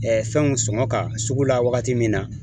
fɛnw sɔngɔ ka sugu la wagati min na